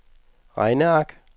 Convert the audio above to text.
regneark